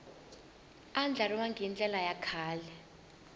andlariwangi hi ndlela ya kahle